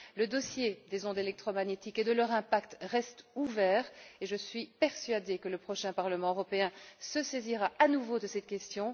Le dossier des ondes électromagnétiques et de leur impact reste ouvert et je suis persuadée que le prochain Parlement européen se saisira à nouveau de cette question.